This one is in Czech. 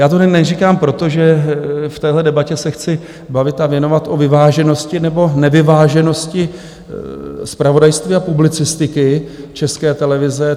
Já to neříkám proto, že v téhle debatě se chci bavit a věnovat o vyváženosti nebo nevyváženosti zpravodajství a publicistiky České televize.